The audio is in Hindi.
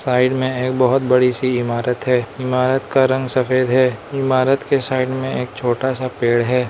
साइड में एक बहुत बड़ी सी इमारत है। इमारत का रंग सफेद है। इमारत के साइड में एक छोटा सा पेड़ है।